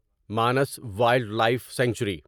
Manas wildlife sanctuary